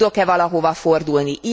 Tudok e valahova fordulni?